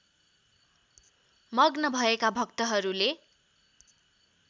मग्न भएका भक्तहरूले